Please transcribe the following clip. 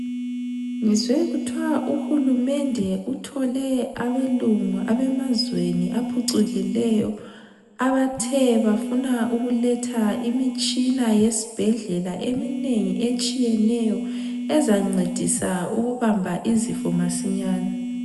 Ngizwe kuthwa uHulumende uthole abelungu abemazweni aphucukileyo abathe bafuna ukuletha imitshina yesibhedlela eminengi etshiyeneyo ezancedisa ukubamba izifo masinyane.